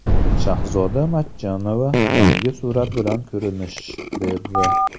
Shahzoda Matchonova yangi surat bilan ko‘rinish berdi.